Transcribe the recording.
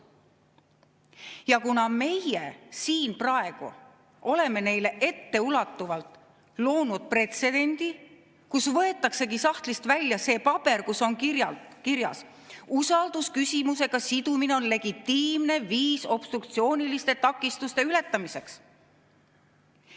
Ja kuna meie siin praegu oleme neile etteulatuvalt loonud pretsedendi, kus võetaksegi sahtlist välja see paber, kus on kirjas: "Usaldusküsimusega sidumine on legitiimne viis obstruktsiooniliste takistuste ületamiseks.